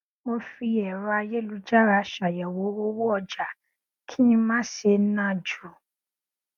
mo fi ẹrọ ayélujára ṣàyẹwò owó ọjà kí n má ṣe ná ju